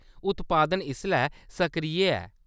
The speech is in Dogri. उत्पादन इसलै सक्रिय ऐ।